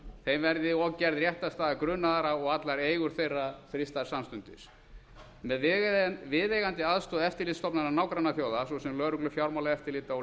þeim verði og gerð réttarstaða grunaðra og allar eigur þeirra frystar samstundis með viðeigandi aðstoð eftirlitsstofnana nágrannaþjóða svo sem lögreglu fjármálaeftirlita og